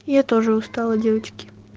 я тоже устала девочки